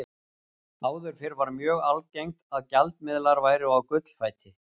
Áður fyrr var mjög algengt að gjaldmiðlar væru á gullfæti.